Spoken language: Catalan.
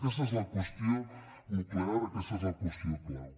aquesta és la qüestió nuclear aquesta és la qüestió clau